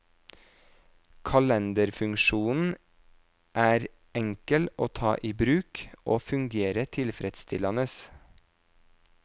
Kalenderfunksjonen er enkel å ta i bruk, og fungerer tilfredsstillende.